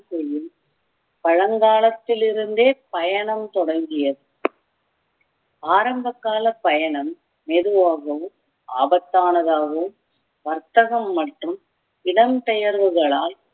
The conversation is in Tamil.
செய்யும் பழங்காலத்திலிருந்தே பயணம் தொடங்கியது ஆரம்பகால பயணம் மெதுவாகவும் ஆபத்தானதாகவும் வர்த்தகம் மட்டும் இடம்பெயர்வுகளால்